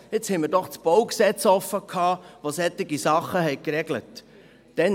Jetzt hatten wir doch das BauG offen, das solche Sachen geregelt hat.